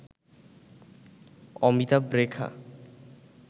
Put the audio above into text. Amitabh Rekha